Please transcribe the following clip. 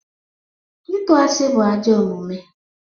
Ịtụ asị bụ ajọ omume